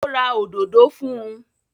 Ó ra òdòdó fún un?